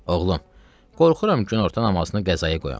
Oğlum, qorxuram günorta namazını qəzaya qoyam.